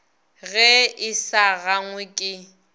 ge e sa gangwe ke